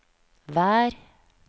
vær